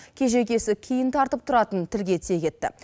кежегесі кейін тартып тұратынын тілге тиек етті